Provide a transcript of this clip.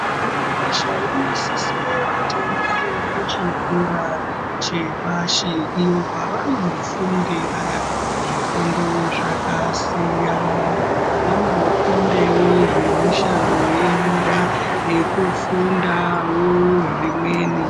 Mwana weshe unosisire kuti aende kuchikora chepashi iyo kwavanofundira zvifundo zvakasiyana vanofundewo zvemishando yenyara nekufundawo zvimweni.